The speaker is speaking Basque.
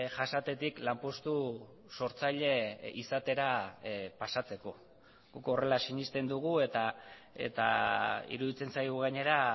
jasatetik lanpostu sortzaile izatera pasatzeko guk horrela sinesten dugu eta iruditzen zaigu gainera